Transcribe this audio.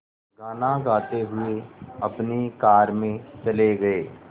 गाना गाते हुए अपनी कार में चले गए